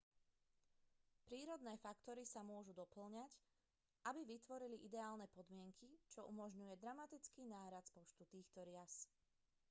prírodné faktory sa môžu dopĺňať aby vytvorili ideálne podmienky čo umožňuje dramatický nárast počtu týchto rias